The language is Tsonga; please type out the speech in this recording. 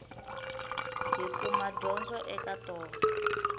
hi kuma dyondzo eka tona